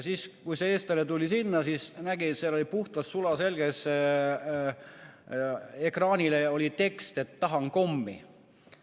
Kui see eestlane tuli sinna, siis ta nägi, et seal ekraanil oli puhtas, sulaselges keeles tekst, et tahan kommi.